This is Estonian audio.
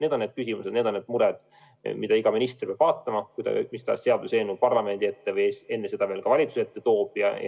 Need on need küsimused, need on need mured, mida iga minister peab arvestama, kui ta mis tahes seaduseelnõu parlamendi ette toob ja enne seda valitsuse ette.